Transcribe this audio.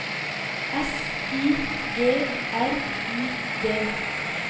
S I G R I D